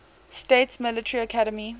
states military academy